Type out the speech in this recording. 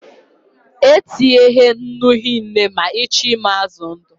E tinyena nnu hie nne ma ị chọọ ịmị azụ ndụ